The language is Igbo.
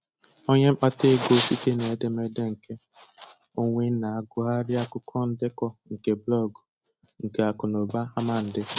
Onye mkpata ego site n'edemede nke onwe na -agụghari akụkọ ndekọ nke blọgụ nke akụnaụba àmà Ndị